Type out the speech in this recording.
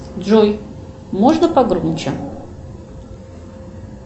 джой можно погромче